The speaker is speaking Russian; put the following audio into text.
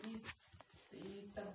и